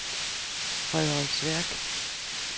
Frederiksværk